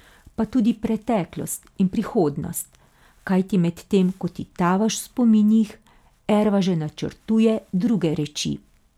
Pa tudi preteklost in prihodnost, kajti medtem ko ti tavaš v spominih, Erva že načrtuje druge reči.